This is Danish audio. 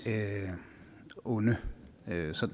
onde